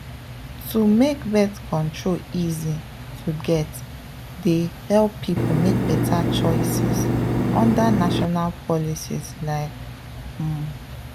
to make birth control easy to get dey help people make better choices under national policies like… um.